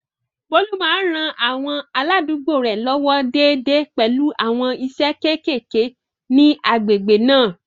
Bólú máa ń ran àwọn aládùúgbò rẹ̀ lọ́wọ́ déédéé pẹ̀lú àwọn iṣẹ́ kéékèèké ní agbègbè náà